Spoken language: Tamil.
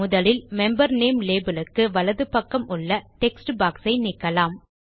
முதலில் மெம்பர் நேம் லேபல் க்கு வலது பக்கம் உள்ள டெக்ஸ்ட் boxஐ நீக்கலாம்